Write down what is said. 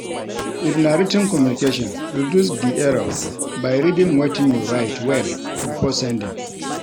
If na writ ten communication, reduce di error by reading wetin you write well before sending